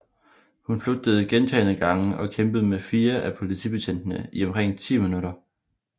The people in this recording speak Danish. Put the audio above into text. Hun flygtede gentagne gange og kæmpede med fire af politibetjentene i omkring 10 minutter